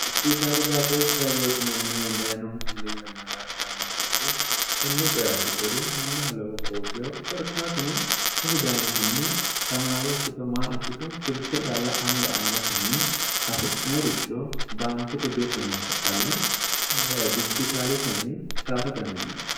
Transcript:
dijitaali baatooshshi hayyootinanni dayinohu muli yanna daa'nhi yannanneeti konne coye abbitori mannaho lobo horoutiho qorkaatuno heti dayinkunni tamaare ikkito maa ikkito silke yalla anga amadatenni hasi'noyericho baankete birre noota calla dijjitaaletenni saata dandiine